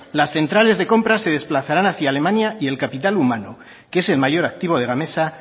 las centrales de compras se desplazarán hacia alemania y el capital humano que es el mayor activo de gamesa